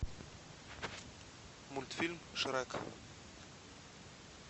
мультфильм шрек